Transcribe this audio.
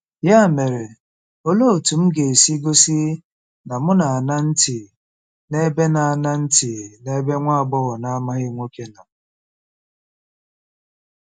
Ya mere, olee otú m ga-esi gosi na m na-aṅa ntị n'ebe na-aṅa ntị n'ebe nwa agbọghọ na-amaghị nwoke nọ?...